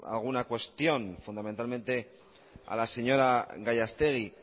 alguna cuestión fundamentalmente a la señora gallastegui